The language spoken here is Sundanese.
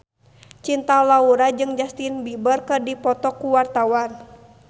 Cinta Laura jeung Justin Beiber keur dipoto ku wartawan